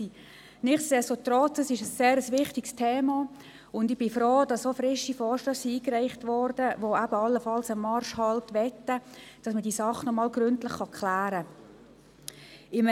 Nichtsdestotrotz ist es ein sehr wichtiges Thema, und ich bin froh, dass frische Vorstösse eingereicht wurden, die allenfalls einen Marschhalt möchten, damit man diese Sache nochmals gründlich klären kann.